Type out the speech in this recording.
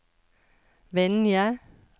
Vinje